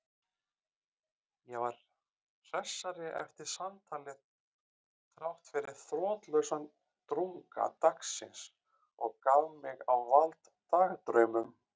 Ég var hressari eftir samtalið þráttfyrir þrotlausan drunga dagsins og gaf mig á vald dagdraumum.